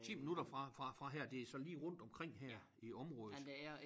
10 minutter fra fra fra her det så lige rundtomkring her i området